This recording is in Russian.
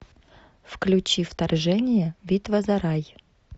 включи вторжение битва за рай